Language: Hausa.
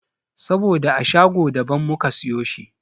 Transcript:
Saboda a shago da ban muka siyo shi.